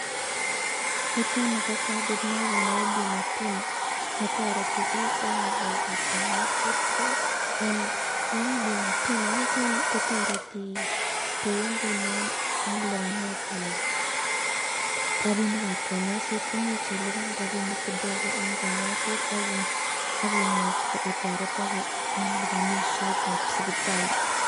Nitet nii ko kadit nebo Bima pima netoreti biik en ng'alekab konyoiset, ko en Bima pima initet nii koreti kouu ng'unon en libanetab rabinikab konyoiset, imuch iliban rabinik kidogo en konyoiset ak imuch itoretoke en libonishetab sipitali.